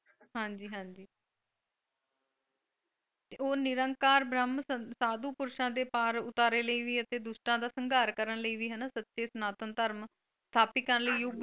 ਹਾਂਜੀ ਹਾਂਜੀ ਉਹ ਨਿਰੰਕਾਰ ਬ੍ਰਮ ਸਾਧੂ ਪੁਰਸ਼ਾਂ ਦੇ ਪਾਰ ਉਤਾਰੇ ਲਈ ਵੀ ਅਤੇ ਦੁਸ਼ਟਾਂ ਦਾ ਸੰਗਾਰ ਕਰਨ ਲਈ ਵੀ ਹਨਾ ਸੱਚੇ ਸਨਾਤਨ ਧਰਮ ਸਥਾਪਿਤ ਕਰਨ ਲਈ।